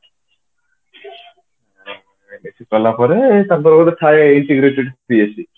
MSC କଲା ପରେ ତାଙ୍କର ଗୋଟେ ଥାଏ integrated BSC